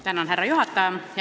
Tänan, härra juhataja!